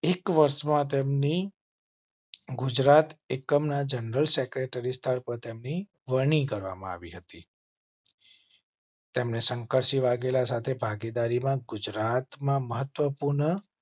એક વર્ષમાં તેમની. ગુજરાત એકમના જનરલ સેક્રેટરી સ્તર પર તેમની વરણી કરવામાં આવી હતી. તેમણે શંકરસિંહ વાઘેલા સાથે ભાગીદારી માં ગુજરાતમાં મહત્વપૂર્ણ